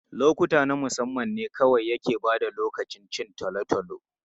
Lokuta na musamman ne kawai ke ba da tabbacin cin tolotolo.